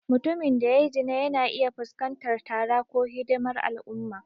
Mutumin da ya yi zina yana iya fuskantar tara ko hidimar al'umma.